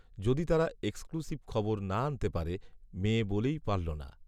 যদি তারা এক্সক্লুসিভ খবর না আনতে পারে, মেয়ে বলেই পারল না